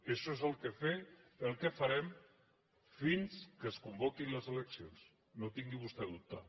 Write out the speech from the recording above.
això és el que farem fins que es convoquin les eleccions no en tingui vostè dubte